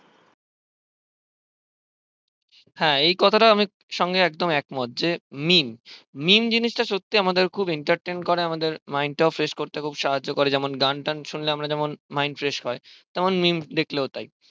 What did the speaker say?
হ্যাঁ এই কথা টা আমি সঙ্গে এক মত যে meme meem জিনিসটা সত্যি আমাদের খুব entertain করে আমাদের mind fresh করতে খুব সাহায্য করে যেমন গানটান শুনলে আমরা যেমন mind fresh হয় তেমন memes দেখলেও তাই